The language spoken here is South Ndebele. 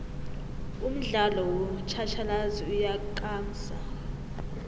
umdialo wotjhatjhalazi uyakamsa